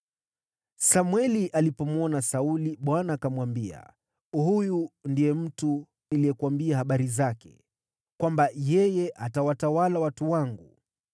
Samweli alipomwona Sauli, Bwana akamwambia, “Huyu ndiye mtu niliyekuambia habari zake, kwamba yeye atawatawala watu wangu.”